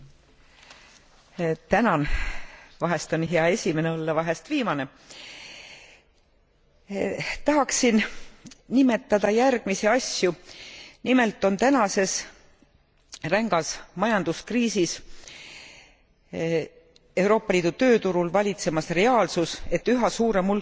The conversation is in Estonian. Vahel on hea esimene olla, vahel viimane. Tahaksin nimetada järgmisi asju nimelt on tänases rängas majanduskriisis Euroopa Liidu tööturul valitsemas reaalsus, et üha suurem hulk uusi inimesi koondatakse,